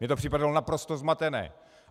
Mně to připadalo naprosto zmatené.